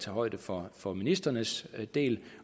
højde for for ministrenes del